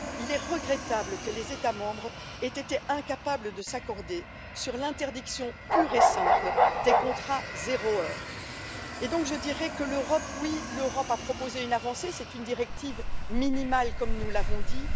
Il est regrettable que les États membres aient été incapables de s'accorder sur l'interdiction pure et simple des contrats zéro heure. Je dirais donc que l'Europe a proposé une avancée. C'est toutefois une directive minimale, comme nous l'avons dit